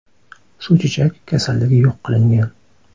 Suvchechak kasalligi yo‘q qilingan.